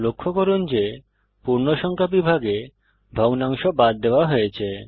লক্ষ্য করুন যে পূর্ণসংখ্যা বিভাগে ভগ্নাংশ বাদ দেওয়া হয়েছে